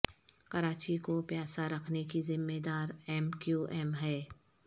کراچی کو پیاسا رکھنے کی ذمہ دار ایم کیو ایم ہے